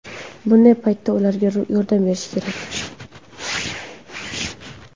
Bunday paytda ularga yordam berish kerak.